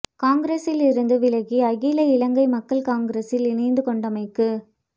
காங்கிரஸில் இருந்து விலகி அகில இலங்கை மக்கள் காங்கிரஸில் இணைந்து கொண்டமைக்கு